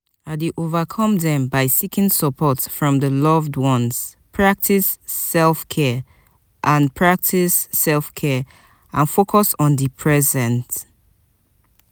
i dey overcome dem by seeking support from di loved ones practice self-care and practice self-care and focus on di present.